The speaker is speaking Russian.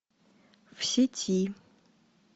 в сети